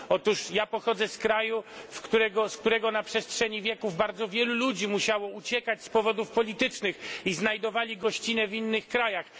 Otóż ja pochodzę z kraju, z którego na przestrzeni wieków bardzo wielu ludzi musiało uciekać z powodów politycznych i znajdowali gościnę w innych krajach.